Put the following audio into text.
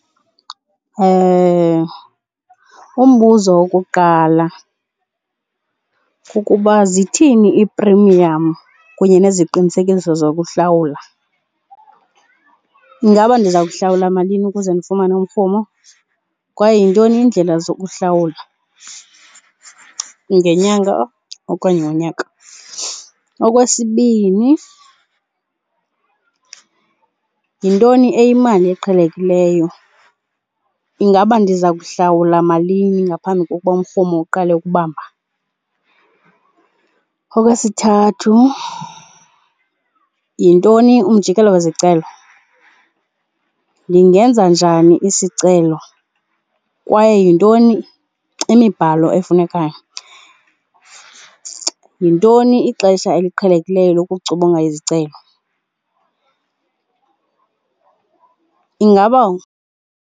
Umbuzo wokuqala kukuba zithini iiprimiyamu kunye neziqinisekiso zokuhlawula. Ingaba ndiza kuhlawula malini ukuze ndifumane umrhumo kwaye yintoni indlela zokuhlawula, ngenyanga okanye ngonyaka? Okwesibini, yintoni eyimali eqhelekileyo? Ingaba ndiza kuhlawula malini ngaphambi kokuba umrhumo uqale ukubamba? Okwesithathu, yintoni umjikelo wezicelo? Ndingenza njani isicelo kwaye yintoni imibhalo efunekayo? Yintoni ixesha eliqhelekileyo izicelo, ingaba?